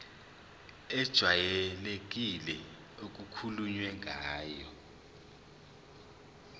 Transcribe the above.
ejwayelekile okukhulunywe ngayo